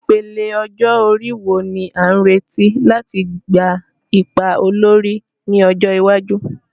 Ìpele ọjọ́ orí wo ni a retí láti gba ipa olórí ní ọjọ́ iwájú?